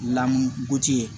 Lamu ye